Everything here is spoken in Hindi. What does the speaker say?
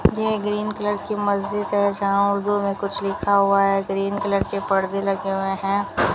ये ग्रीन कलर की मस्जिद है जहां उर्दू मे कुछ लिखा हुआ है ग्रीन कलर के पर्दे लगे हुए हैं।